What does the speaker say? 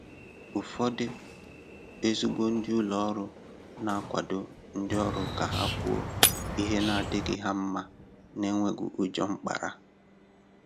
Ụ́fọ̀dụ̀ ezigbo ndị ụlọ òrụ́ na-akwàdo ndị òrụ́ ka ha kwùò ihe na-adịghị ha mma n’enwèghì ùjọ mkpàrà.